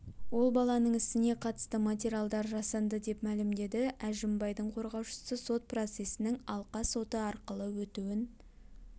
ол баланың ісіне қатысты материалдар жасанды деп мәлімдеді әжімбайдың қорғаушысы сот процесінің алқа соты арқылы өтуін